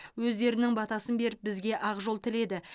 өздерінің батасын беріп бізге ақжол тіледі